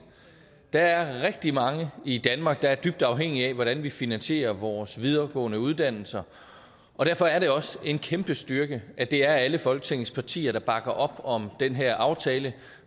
der er rigtig mange i danmark der er dybt afhængige af hvordan vi finansierer vores videregående uddannelser og derfor er det også en kæmpe styrke at det er alle folketingets partier der bakker op om den her aftale